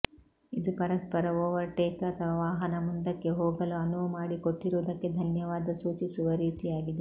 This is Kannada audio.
ಇದು ಪರಸ್ಪರ ಓವರ್ಟೇಕ್ ಅಥವಾ ವಾಹನ ಮುಂದಕ್ಕೆ ಹೋಗಲು ಅನುವು ಮಾಡಿ ಕೊಟ್ಟಿರುವುದಕ್ಕೆ ಧನ್ಯವಾದ ಸೂಚಿಸುವ ರೀತಿಯಾಗಿದೆ